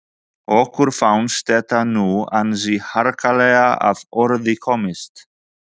Okkur fannst þetta nú ansi harkalega að orði komist.